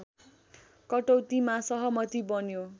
कटौतीमा सहमति बन्यो